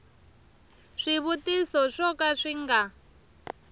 swivutiso swo ka swi nga